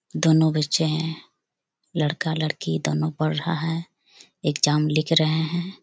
दोनों बच्चे है लड़का लड़की दोनों पढ़ रहे है एग्जाम लिख रहे है ।